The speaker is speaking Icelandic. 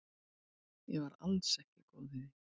Ég var alls ekki góð í því.